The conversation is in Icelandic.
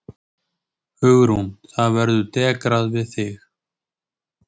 Hugrún: Það verður dekrað við þig?